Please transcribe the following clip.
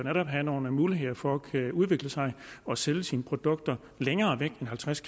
have nogle muligheder for at kunne udvikle sig og sælge sine produkter længere væk end halvtreds